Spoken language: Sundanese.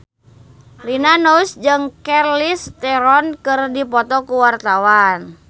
Rina Nose jeung Charlize Theron keur dipoto ku wartawan